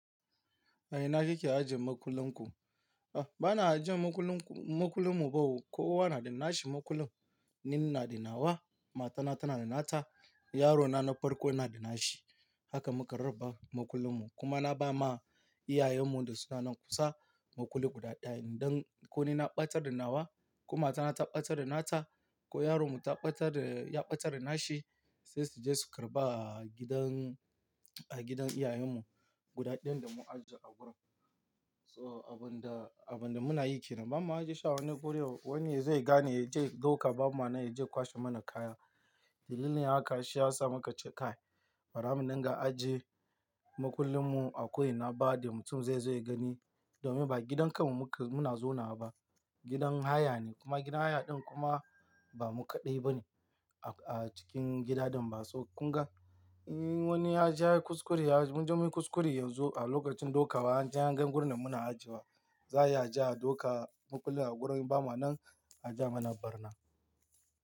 A ina kike ajiye makullin ku? Ba na ajiye makullin mu, makullin mu kowa na da nashi makullin. Ni inada nawa, matana tanada nata, yarona na farko yanada nashi. Haka muka raba makullin mu. Kuma na ba ma iyayen mu da sunanan kusa makulli guda ɗaya. Idan ko ni na ɓatar da nawa ko matana ta ɓatar da nata ko yaron mu ya ɓatar da, ya ɓatar da nashi, sai suje su karɓa a gidan, a gidan iyayen mu guda ɗin da mun ajiye a wurin. So abun da, abun da muna yi ke nan. Ba ma ajiye sha a wani guri wani yazo ya gane ya je ɗauka ba ma nan yaje ya kwashe mana kaya. Dalilin haka shi ya sa muka ce kai. Bara mudinga ajiye makullin mu a ko ina ba da mutum zaizo ya gani domin ba gidan kan mu muna, muna zauna ba. Gidan haya ne kuma gidan haya ɗin kuma ba mu kaɗai ba ne a cikin gida ɗin ba. So kun ga, in wani yaje yayi kuskure, munje munyi kuskure yanzu a lokacin ɗaukawa anje anga gurin da muna ajiye wa. Za a iya aje ya ɗauka makullin a gurin ba ma nan aje a mana barna.